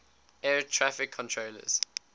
air traffic controllers